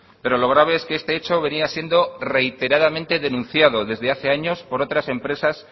pero lo grave es que este hecho venía siendo reiteradamente denunciado desde hace años por otras empresas